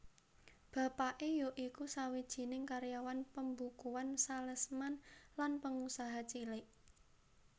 Bapake ya iku sawijining karyawan pembukuan salesman lan pengusaha cilik